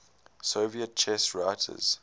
soviet chess writers